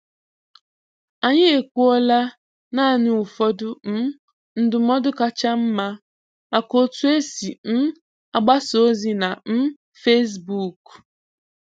Anyị ekwuola naanị ụfọdụ um ndụmọdụ kacha mma maka otu esi um agbasa ozi na um Facebook.